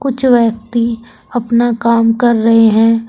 कुछ व्यक्ति अपना काम कर रहे हैं।